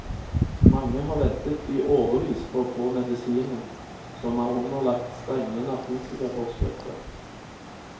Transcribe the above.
Mange har ventet i årevis på å få medisinen, som er underlagt strenge narkotikaforskrifter.